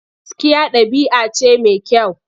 Gaskiya ɗabi'a ce mai kyau.